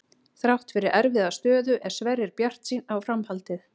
Þrátt fyrir erfiða stöðu er Sverrir bjartsýnn á framhaldið.